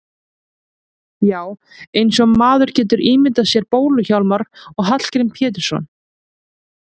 Já, eins og maður getur ímyndað sér Bólu-Hjálmar og Hallgrím Pétursson.